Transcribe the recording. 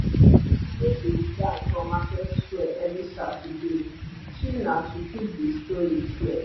she dey teach dance for market square every saturday she nah to keep the story clear